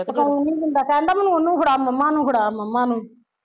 ਸੋਣ ਨੀ ਦਿੰਦਾ ਕਹਿੰਦਾ ਮੈਨੂੰ ਉਹਨੂੰ ਫੜਾ ਮੰਮਾ ਨੂੰ, ਫੜਾ ਮੰਮਾ ਨੂੰ